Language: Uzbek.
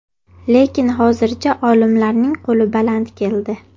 Lekin hozircha olimlarning qo‘li baland keldi.